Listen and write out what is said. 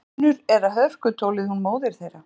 Munur eða hörkutólið hún móðir þeirra.